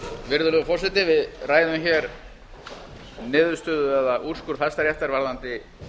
virðulegur forseti við ræðum hér niðurstöðu eða úrskurð hæstaréttar varðandi